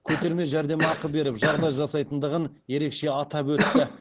көтерме жәрдемақы беріп жағдай жасайтындығын ерекше атап өтті